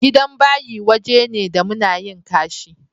Gidan bayi waje ne da muna yin ƙashi.